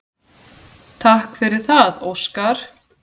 Takk fyrir það Óskar.